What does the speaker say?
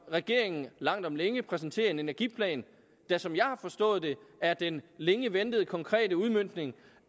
regeringen langt om længe præsenterer en energiplan der som jeg har forstået det er den længe ventede konkrete udmøntning